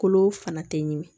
Kolo fana tɛ ɲimi